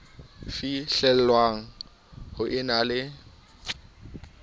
fihlellwang ho e na le